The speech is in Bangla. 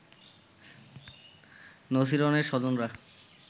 নছিরনের স্বজনরা